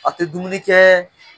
A tɛ dumuni kɛ